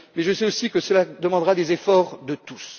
Mais je sais aussi que cela demandera des efforts de